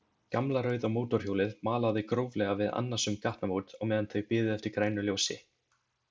Gamla rauða mótorhjólið malaði gróflega við annasöm gatnamót á meðan þau biðu eftir grænu ljósi.